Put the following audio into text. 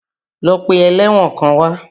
Lọ pe ẹlẹ́wọ̀n kan wá!